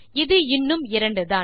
இது இன்னும் 2 தான்